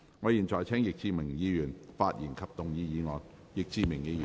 我現在請易志明議員發言及動議議案。